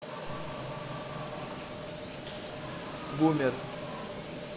бумер